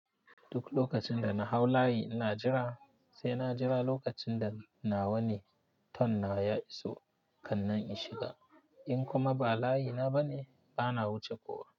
Duk lokacin da na hau layi ina jira, sai na jira lokacin da nawa ne turn nawa ya iso kan nan in shiga. In kuma ba layi na ba ne, bana wuce kowa.